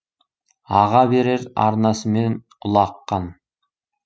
аға берер арнасымен ұлы аққан